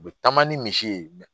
U bɛ taama ni misi ye